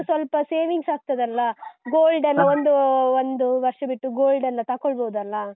ಸ್ವಲ್ಪ savings ಆಗ್ತದಲ್ಲ? Gold ಎಲ್ಲ ಒಂದೂ ಒಂದು ವರ್ಷ ಬಿಟ್ಟು gold ಎಲ್ಲಾ ತಕೊಳ್ಬೋದಲ್ಲಾ.